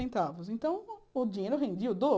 Então mas então, o dinheiro rendia o dobro.